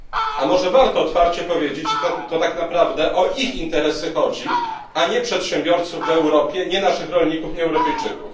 A może warto otwarcie powiedzieć, że to tak naprawdę o ich interesy chodzi, a nie przedsiębiorców w Europie, nie naszych rolników, nie Europejczyków?